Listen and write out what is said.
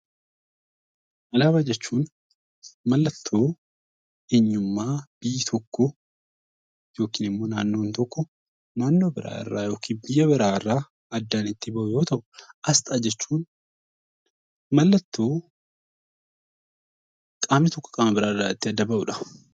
Alaabaa jechuun mallattoo eenyummaa biyya tokkoo yookiin immoo naannoon tokko naannoo biraa irraa yookiin biyya biraa irraa addaan itti bahu yoo ta'u; Asxaa jechuun mallattoo qaamni tokko qaama biraa irraa itti adda bahu dha.